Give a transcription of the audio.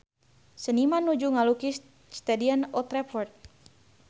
Seniman nuju ngalukis Stadion Old Trafford